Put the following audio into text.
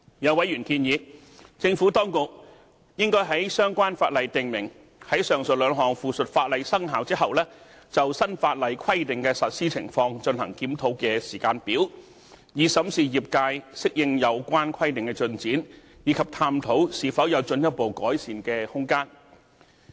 有委員建議，政府當局應該在相關法例訂明，在上述兩項附屬法例生效後，就新法例規定的實施情況進行檢討的時間表，以審視業界適應有關規定的進展，以及探討是否有進一步的改善空間。